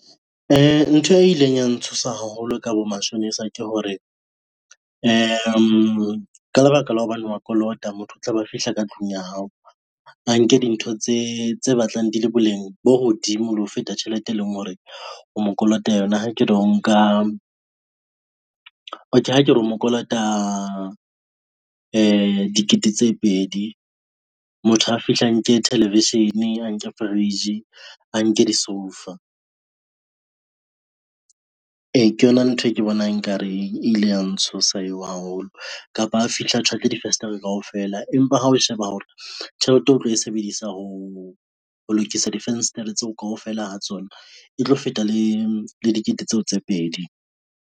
Ntho e ileng ya ntshosa haholo ka bomashonisa ke hore, ka lebaka la hobane wa kolota motho o tla be a fihla ka tlung ya hao a nke dintho tse batlang di le boleng bo hodimo le ho feta tjhelete e leng hore o mo kolota yona ha ke re o nka , okay ha ke re mo kolota dikete tse pedi. Motho a fihle a nke television, a nke fridge, a nke disoufa. E, ke yona ntho e ke bonang nkareng e ile ya ntshosa eo haholo kapa a fihle a tjhwatle difenstere kaofela, empa ha o sheba hore tjhelete o tlo e sebedisa ho lokisa difenstere tseo kaofela ha tsona e tlo feta le dikete tseo tse pedi.